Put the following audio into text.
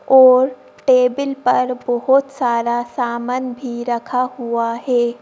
और टेबल पर बहुत सारा सामान भी रखा हुआ है।